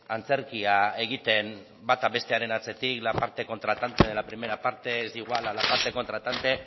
antzerkia egiten bata bestearen atzetik la parte contratante de la primera parte es igual a la parte contratante